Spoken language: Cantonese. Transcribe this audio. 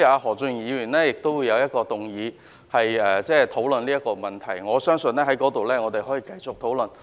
何俊賢議員將會動議一項議案討論這個問題，相信屆時我們可以再作討論。